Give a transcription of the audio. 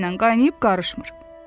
Heç kimnən qaynayıb qarışmır.